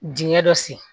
Dingɛ dɔ sen